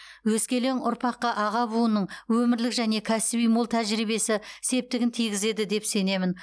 өскелең ұрпаққа аға буынның өмірлік және кәсіби мол тәжірибесі септігін тигізеді деп сенемін